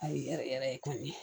Ayi yɛrɛ yɛrɛ yɛrɛ kɔni